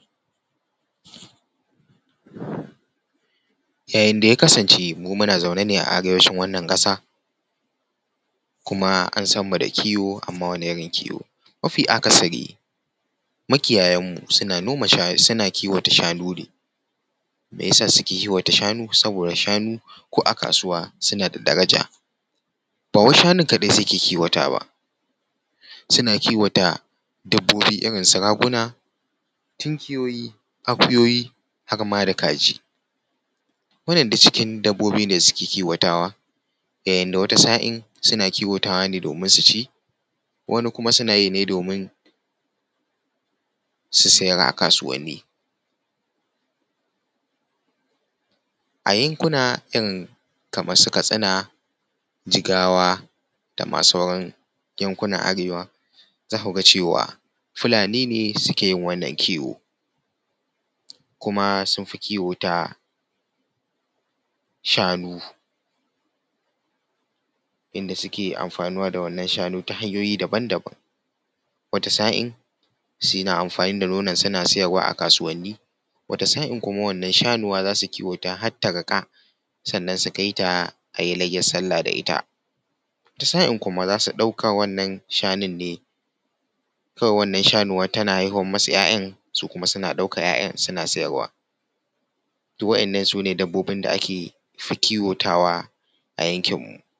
Ya yin yanda ya kasance mu muna zaune ne a arewacin wannan ƙasa kuma an san mu da kiwo amma wane irin kiwo. Mafi akasari makiyayan mu suna noma sha suna kiwata shanu ne, me yasa suke kiwata shanu, saboda shanu ko a kasuwa suna da daraja ba wai shanun kadai suke kiwatawa ba suna kiwata dabbobi irin su raguna, tunkuyoyi, akuyoyi har ma da kaji. Wannan duk cikin dabbobi ne suke kiwatawa yayin da wata sa’in suna kiwatawa ne domin su ci, wani kuma suna yi ne su siyar a kasuwanni. A yankuna irin su Katsina, Jigawa, da ma sauran yankunan arewa za ku ga cewa Fulani ne suke yin wannan kiwo kuma sun fi kiwo ta shanu, inda suke amfanuwa da wannan shanu ta hanyoyi daban-daban wata sa’in suna amfani da nonon suna siyarwa a kasuwanni, wata sa’in kuma wannan sanuwar zasu kiwata ta har ta riƙa sannan su kai ta a yi layyar sallah da ita, wata sa’in kuma za su ɗauka wannan shanu ne kawai wannan sanuwa tana haihuwar masu ‘ya’yan su kuma suna ɗaukar waɗannan ‘ya’yan suna siyarwa. Toh wa’yannan sune dabbobin da ake kiwotawa.